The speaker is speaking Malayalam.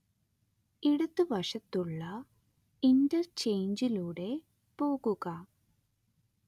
ഇടതുവശത്തുള്ള ഇന്റർചെയ്ഞ്ചിലൂടെ പോകുക